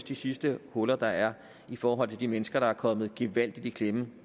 de sidste huller der er i forhold til de mennesker der er kommet gevaldigt i klemme